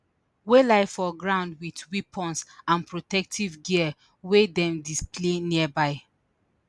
wey lie for ground wit weapons and protective gear wey dem display nearby